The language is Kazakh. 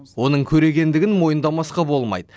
оның көрегендігін мойындамасқа болмайды